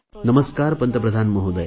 नमस्कार पंतप्रधान महोदय